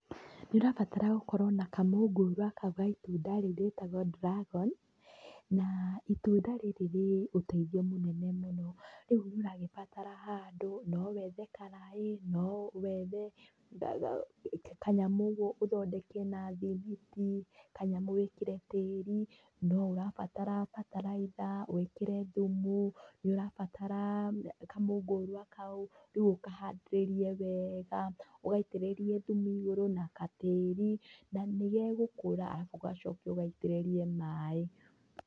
Nĩũrabatarwo gũkorwo na kamũngũra gaitunda rĩu rĩtagwo dragon na itunda rĩrĩ rĩũteithio mũnene mũno. ũguo nĩũragĩbatara handũ. Nowethe karaĩ, nowethe kanyamũ ũguo ũthondeke natũthuku, kanyamũ wĩkĩre tĩri. Noũrabatara bataraitha wĩkĩre thumu. Nĩũrabatara kamũngũria kau rĩu ũkahandĩrĩrie wega ũgaitĩrĩrie thumu igũrũ na katĩri na nĩgegũkũra arabu ũcoke ũgaitĩrĩrie maĩ.